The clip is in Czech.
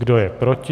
Kdo je proti?